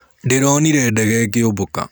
Ndĩronire ndege ĩkĩũmbũka.